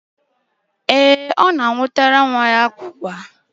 Ee, ọ na-anwụtara nwa ya ụkpara.